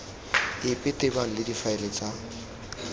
epe tebang le difaele tsa